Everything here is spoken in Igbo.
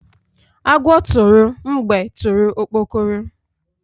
Agwọ tụrụ mgbe tụrụ okpokoro